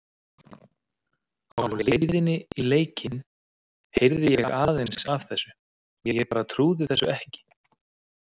Á leiðinni í leikinn heyrði ég aðeins af þessu og ég bara trúði þessu ekki.